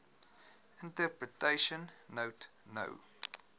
interpretation note no